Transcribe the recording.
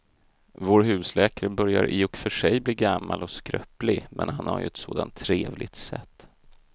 Vår husläkare börjar i och för sig bli gammal och skröplig, men han har ju ett sådant trevligt sätt!